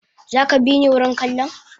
Zaka bini wurin kallon?